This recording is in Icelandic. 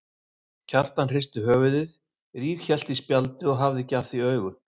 Kjartan hristi höfuðið, ríghélt í spjaldið og hafði ekki af því augun.